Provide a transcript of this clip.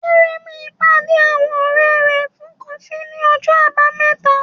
Aremeu pàdé àwọn ọ̀rẹ́ rẹ̀ fún kọfí ní ọjọ́ Àbámẹ́ta.